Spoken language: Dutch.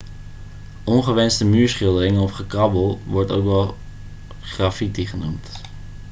ongewenste muurschilderingen of gekrabbel wordt ook wel graffiti genoemd